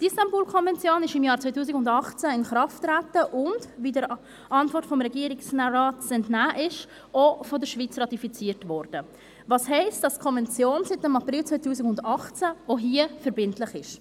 Die Istanbul-Konvention trat im Jahr 2018 in Kraft und wurde – wie der Antwort des Regierungsrates zu entnehmen ist – auch von der Schweiz ratifiziert, was heisst, dass die Konvention seit dem April 2018 auch hier verbindlich ist.